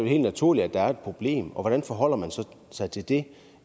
helt naturligt at der er et problem og hvordan forholder man sig til det